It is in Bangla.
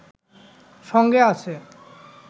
সঙ্গে আছে